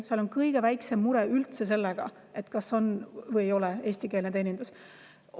Seal on üldse kõige väiksem mure selle pärast, kas on või ei ole eestikeelne teenindus.